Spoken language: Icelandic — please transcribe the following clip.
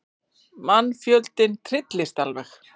Mannfjöldinn trylltist alveg.